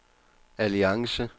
alliance